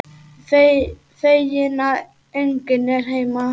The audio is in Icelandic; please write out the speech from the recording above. Feginn að enginn er heima.